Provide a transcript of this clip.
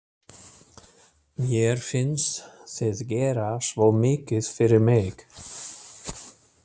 Mér finnst þið gera svo mikið fyrir mig.